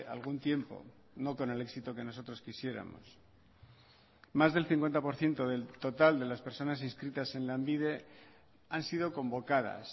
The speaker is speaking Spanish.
algún tiempo no con el éxito que nosotros quisiéramos más del cincuenta por ciento del total de las personas inscritas en lanbide han sido convocadas